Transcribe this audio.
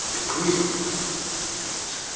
eqhinirha